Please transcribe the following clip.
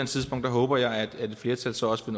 tidspunkt håber jeg at et flertal så også